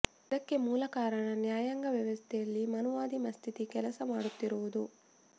ಅದಕ್ಕೆ ಮೂಲ ಕಾರಣ ನ್ಯಾಯಾಂಗ ವ್ಯವಸ್ಥೆಯಲ್ಲಿ ಮನುವಾದಿ ಮಸ್ಥಿತಿ ಕೆಲಸ ಮಾಡುತ್ತಿರುವುದು